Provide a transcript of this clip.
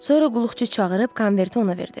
Sonra qulluqçu çağırıb konverti ona verdi.